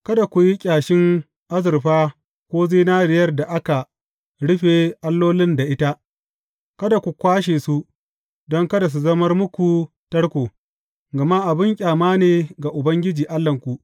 Kada ku yi ƙyashin azurfa ko zinariyar da aka rufe allolin da ita, Kada ku kwashe su, don kada su zamar muku tarko, gama abin ƙyama ne ga Ubangiji Allahnku.